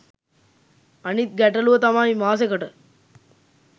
අනිත් ගැටළුව තමයි මාසෙකට